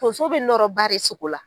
Tonso bɛ nɔrɔ baa re sogo la.